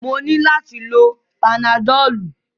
Mo nílò láti lo panadọ́lú.